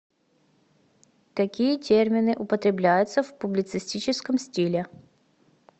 какие термины употребляются в публицистическом стиле